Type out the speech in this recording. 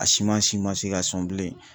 A siman si ma se ka sɔn bilen